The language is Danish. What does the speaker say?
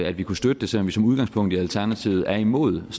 at vi kunne støtte det selv om vi som udgangspunkt i alternativet er imod og